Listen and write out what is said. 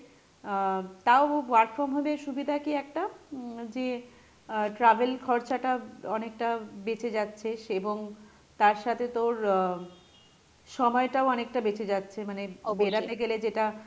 আহ তাও work from home এর সুবিধা কী একটা, উম যে আহ travel খরচাটা অনেকটা বেচেঁ যাচ্ছে, সেবং তার সাথে তোর আহ সময় টাও অনেকটা বেচেঁ যাচ্ছে মানে বেড়াতে গেলে যেটা,